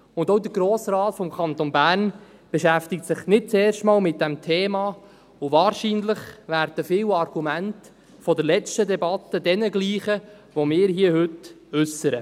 Auch der Grosse Rat des Kantons Bern beschäftigt sich nicht zum ersten Mal mit diesem Thema, und wahrscheinlich werden viele Argumente der letzten Debatte denjenigen gleichen, welche wir heute äussern.